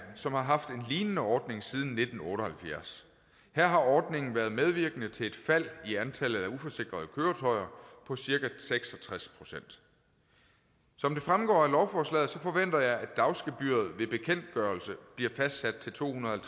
som har haft en lignende ordning siden nitten otte og halvfjerds her har ordningen været medvirkende til et fald i antallet af uforsikrede køretøjer på cirka seks og tres procent som det fremgår af lovforslaget forventer jeg at dagsgebyret ved bekendtgørelse bliver fastsat til to hundrede og